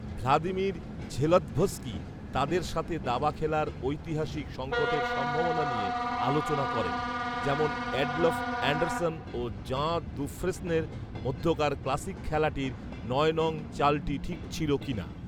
Vladimir ঝেলৎভস্কি তাদের সাথে দাবা খেলার ঐতিহাসিক সংকটের সম্ভাবনা নিয়ে আলোচনা করেন, যেমন এডলফ এন্ডারসন ও জাঁ দুফ্রেস্নের মধ্যকার ক্লাসিক খেলাটির নয় নং চালটি ঠিক ছিল কিনা